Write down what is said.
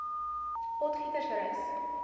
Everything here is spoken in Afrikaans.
potgietersrus